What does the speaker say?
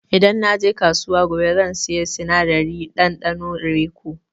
Idan na je kasuwa gobe zan saya sinadarin ɗanɗanon raiko.